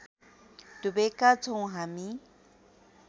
डुबेका छौँ हामी